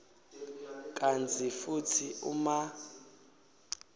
kantsi futsi uma